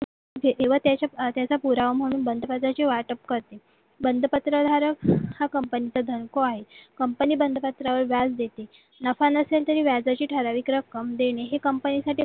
की व त्याच्या पुरावा म्हणून बंद खात्याची वाटप बंदपत्रधारक हा company चा धनको आहे company बंद पत्र वर व्याज देते नफा नसेल तरी व्याजाची रक्कम देणे ही company साठी